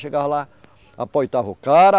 Chegava lá, o cara.